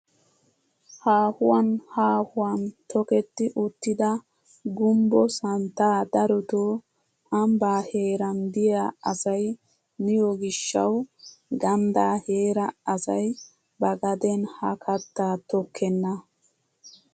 Haahuwaan haahuwan toketti uttida gumbbo santtaa darotoo ambbaa heeran de'iyaa asay miyoo gishshawu ganddaa heera asay ba gaden ha kattaa tokkenna.